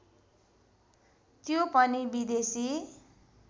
त्यो पनि विदेशी